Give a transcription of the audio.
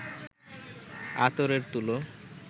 আতরের তুলো